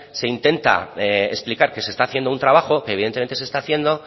se intenta explicar que se está haciendo un trabajo que evidentemente se está haciendo